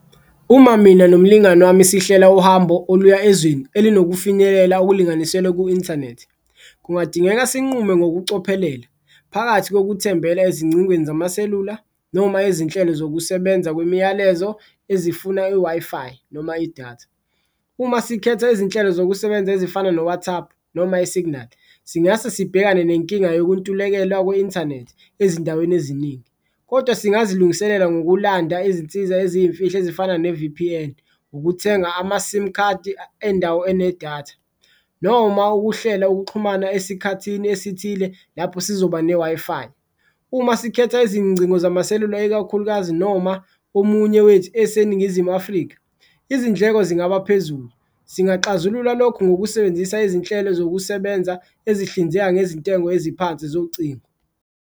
Uma mina nomlingani wami sihlela uhambo oluya ezweni elinokufinyelela okulinganiselwe ku-inthanethi, kungadingeka sinqume ngokucophelela phakathi kokuthembela ezingcingweni zamaselula noma ezinhlelo zokusebenza kwemiyalezo ezifuna i-Wi-Fi noma idatha. Uma sikhetha izinhlelo zokusebenza ezifana no-WhatsApp noma esiginali singase sibhekane nenkinga yokuntulekelwa kwi-inthanethi ezindaweni eziningi, kodwa singazilungiselela ngokulanda izinsiza eziyimfihlo ezifana ne-V_P_N, ukuthenga amasimu khadi endawo enedatha noma ukuhlela ukuxhumana esikhathini esithile lapho sizoba ne-Wi-Fi. Uma sikhetha izingcingo zamaselula ikakhulukazi noma omunye wethu eseNingizimu Afrika izindleko zingaba phezulu, singaxazulula lokhu ngokusebenzisa izinhlelo zokusebenza ezihlinzeka ngezintengo eziphansi zocingo.